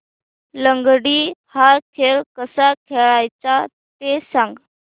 लंगडी हा खेळ कसा खेळाचा ते सांग